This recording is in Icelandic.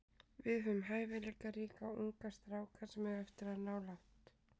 Við höfum hæfileikaríka unga stráka sem eiga eftir að ná langt.